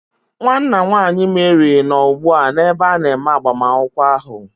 Nwanna nwanyị Mary nọ ugbu a n'ebe a na-eme agbamakwụkwọ ahụ.